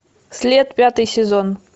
след пятый сезон